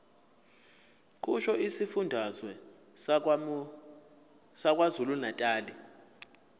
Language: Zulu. kusho isifundazwe sakwazulunatali